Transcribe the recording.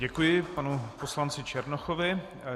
Děkuji panu poslanci Černochovi.